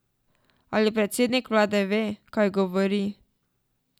Ali predsednik vlade ve, kaj govori?